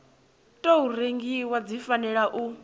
tou rengiwa dzi fanela u